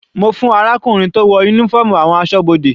Mo fún arákùnrin tó wọ uniform àwọn asọ́bodè.